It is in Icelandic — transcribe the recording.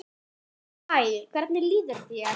Hæ, hvernig líður þér?